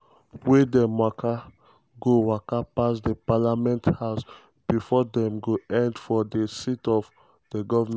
wia dem go waka pass di parliament house bifor dem go end for di seat of goment.